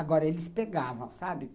Agora, eles pegavam, sabe?